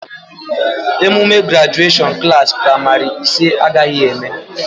Emume grajuashọn Klassị pramarị ise agaghị eme